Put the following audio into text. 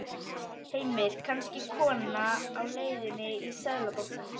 Heimir: Kannski kona á leiðinni í Seðlabankann?